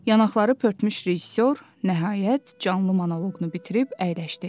Yanaqları pörtmüş rejissor nəhayət canlı monoqunu bitirib əyləşdi.